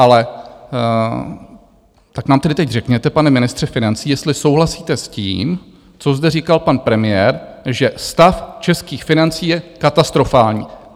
Ale tak nám tedy teď řekněte, pane ministře financí, jestli souhlasíte s tím, co zde říkal pan premiér, že stav českých financí je katastrofální.